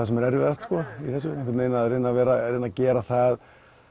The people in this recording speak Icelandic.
sem er erfiðast sko að reyna að reyna að gera það